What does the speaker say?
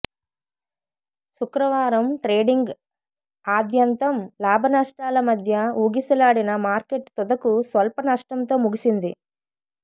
శుక్రవారం ట్రేడింగ్ ఆద్యంతం లాభనష్టాల మధ్య ఊగిసలాడిన మార్కెట్ తుదకు స్వల్ప నష్టంతో ముగిసింది